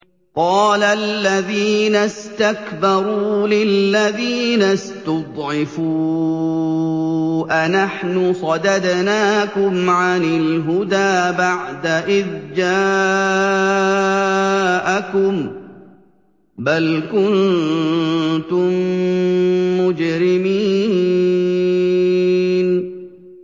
قَالَ الَّذِينَ اسْتَكْبَرُوا لِلَّذِينَ اسْتُضْعِفُوا أَنَحْنُ صَدَدْنَاكُمْ عَنِ الْهُدَىٰ بَعْدَ إِذْ جَاءَكُم ۖ بَلْ كُنتُم مُّجْرِمِينَ